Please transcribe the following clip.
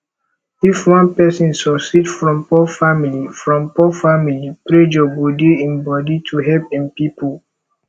if one person suceed from poor family from poor family pressure go dey im body to help im pipo